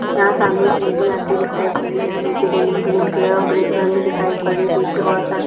यहाँ सामने एक लेडी आती हुई दिखाई पड़ रही है| यहाँ नीचे जमीन ग्रीन कलर और ग्रे कलर में दिखाई पड़ रही है पीछे बहुत सारे --